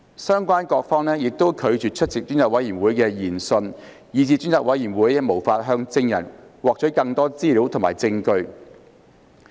相關各方亦拒絕出席專責委員會的研訊，以致專責委員會無法向證人獲取更多資料和證據。